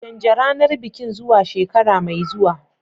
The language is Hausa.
Canja ranar bikin zuwa shekara mai zuwa.